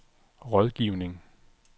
rådgivning